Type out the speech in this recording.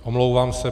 Omlouvám se.